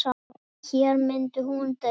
Og hér myndi hún deyja.